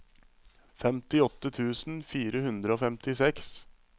femtiåtte tusen fire hundre og femtiseks